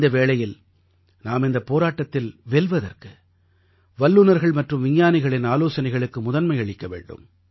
இந்த வேளையில் நாம் இந்தப் போராட்டத்தில் வெல்வதற்கு வல்லுநர்கள் மற்றும் விஞ்ஞானிகளின் ஆலோசனைகளுக்கு முதன்மை அளிக்க வேண்டும்